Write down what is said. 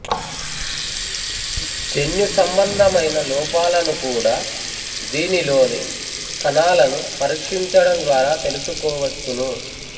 జన్యు సంబంధమైన లోపాలను కూడా దీనిలోని కణాలను పరీక్షించడం ద్వారా తెలుసుకోవచ్చును